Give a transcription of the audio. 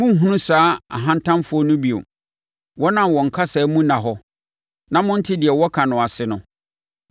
Morenhunu saa ahantanfoɔ no bio, wɔn a wɔn kasa mu nna hɔ, na monte deɛ wɔka no ase no.